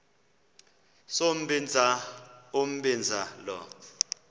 sombinza umbinza lo